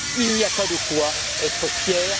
Il n'y a pas de quoi être fier!